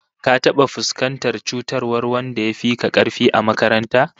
Ka taba fuskantar cutarwar wanda yafi ka karfi a makaranta?